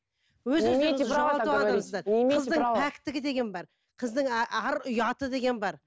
қыздың пәктігі деген бар қыздың ар ұяты деген бар